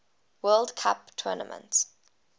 world cup tournament